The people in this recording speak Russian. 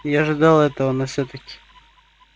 я ожидал этого но все таки